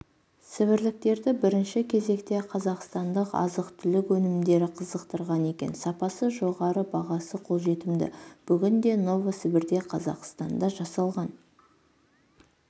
сібірліктерді бірінші кезекте қазақстандық азық-түлік өнімдері қызықтырды екен сапасы жоғары бағасы қолжетімді бүгінде новосібірде қазақстанда жасалған